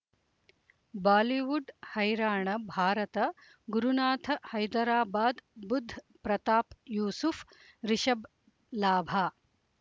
Bollywood ಹೈರಾಣ ಭಾರತ ಗುರುನಾಥ ಹೈದರಾಬಾದ್ ಬುಧ್ ಪ್ರತಾಪ್ ಯೂಸುಫ್ ರಿಷಬ್ ಲಾಭ